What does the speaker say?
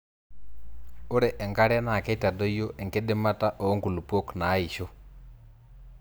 ore enkare naa keitadoyio enkidimata oo nkulupok naaisho